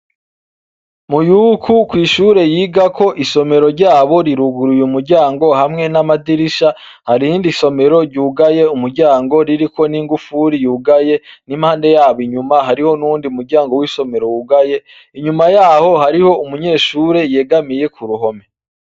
MUYUKU kw'ishure yigako isomero ryabo riruguruye umuryango hamwe n'amadirisha, hari irindi somero ryugaye umuryango ririko n'ingufuri yugaye n'impande yabo inyuma hariho n'uwundi umuryango w'isomero wugaye, inyuma yaho hariho umunyeshure yegamiye kuruhome.